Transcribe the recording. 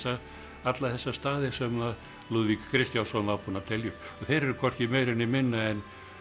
alla þessa staði sem Lúðvík Kristjánsson var búinn að telja upp þeir eru hvorki meira né minna en